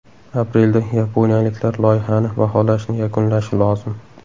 Aprelda yaponiyaliklar loyihani baholashni yakunlashi lozim.